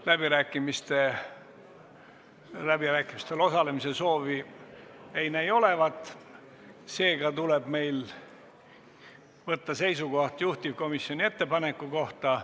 Läbirääkimistel osalemise soovi ei näi olevat, seega tuleb meil võtta seisukoht juhtivkomisjoni ettepaneku kohta.